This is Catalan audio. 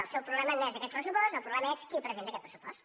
el seu problema no és aquest pressupost el problema és qui presenta aquest pressupost